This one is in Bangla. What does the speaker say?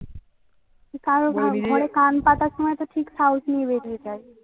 কারো ঘরে কান পাতার সময়তো ঠিক সাহস নিয়ে বের হইতে হয়